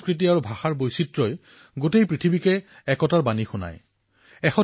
১৩০ কোটি ভাৰতীয়ৰ এয়া সেইখন দেশ যত কোৱা হয় যে গলিগলিয়ে পানী সলনি হয় আৰু গলিগলিয়ে মুখৰ বাণীও সলনি হয়